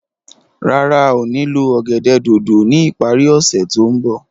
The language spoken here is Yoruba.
Rárá a o ní lo ọ̀gẹ̀dẹ̀ dòdò ni ipari ose to nbọ